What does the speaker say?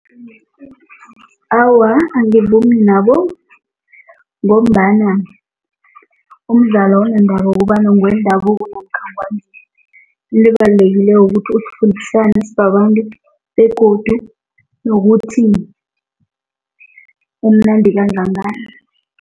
Awa, angivumi nabo ngombana umdlalo awunandaba kobana ngewendabuko namkha into ebalulekileko ukuthi sibabantu begodu nokuthi umnandi kangangani.